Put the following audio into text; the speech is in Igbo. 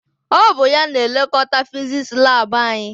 Ọ bụ ya na-elekọta fizisi laabụ anyị.